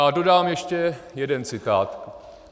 A dodám ještě jeden citát.